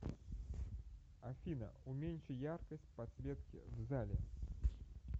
афина уменьши яркость подсветки в зале